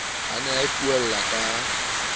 a ne a ipuella ka